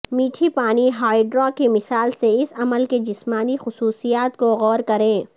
میٹھی پانی ہائڈرا کی مثال سے اس عمل کے جسمانی خصوصیات کو غور کریں